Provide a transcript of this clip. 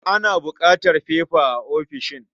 Ana buƙatar fefa a ofishin.